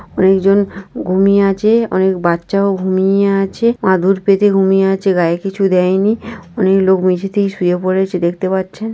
অনেকজন ঘুমিয়ে আছে। অনেক বাচ্চাও ঘুমিয়ে আছে। মাদুর পেতে ঘুমিয়ে আছে গায়ে কিছু দেয়নি । অনেক লোক মেঝেতেই শুয়ে পড়েছে দেখতে পাচ্ছেন।